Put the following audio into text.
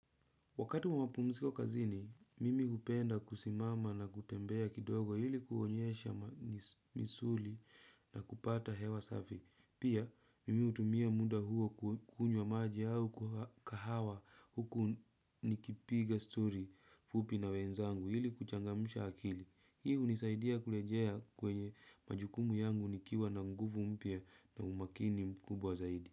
Wakati wa mapumsiko kazini, mimi hupenda kusimama na kutembea kidogo hili kuonyesha misuli na kupata hewa safi. Pia, mimi utumia muda huo kukunywa maji au kahawa huku nikipiga story fupi na wenzangu hili kuchangamusha akili. Hii hunisaidia kulejea kwenye majukumu yangu nikiwa na nguvu mpya na umakini mkubwa zaidi.